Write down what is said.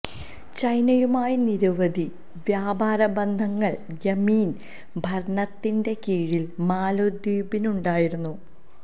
ചൈനയുമായി നിരവധി വ്യാപാര ബന്ധങ്ങള് യമീന് ഭരണത്തിന്റെ കീഴില് മാലദ്വീപിനുണ്ടായിരുന്നു